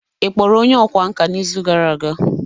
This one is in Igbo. ị kpọrọ onye ọkwá nkà n'izu gara aga?